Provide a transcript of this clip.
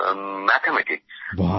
mathematics গণিত বিদ্যা